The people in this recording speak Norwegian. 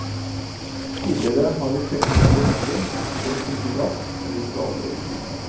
Tidligere har vi fektet over hodet, brukt for mye kraft og gjort gale bevegelser.